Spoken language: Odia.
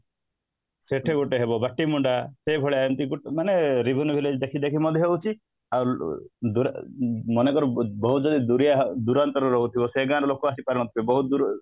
ସେଠି ଗୋଟେ ହବ ବାଟିମୁଣ୍ଡା ସେଇଭଳିଆ ଏମିତି ଗୋଟେ ମାନେ revenue village ଦେଖି ଦେଖି ମଧ୍ୟ ହଉଛି ଆଉ ମନେକର ବହୁତ ବହୁତ ଦୁରାନ୍ତର ରହୁଥିବ ସେ ଗାଁ ର ଲୋକ ଆସିପାରୁନଥିବେ ବହୁତ ଦୂର